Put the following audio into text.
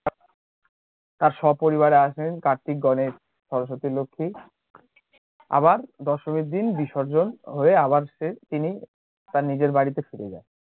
তার স্বপরিবারে আসেন কার্তিক, গণেশ, সরস্বতি, লক্ষ্মী আবার দশমীর দিন বিসর্জন হয়ে আবার সে তিনি তার নিজের বাড়িতে ফিরে যান।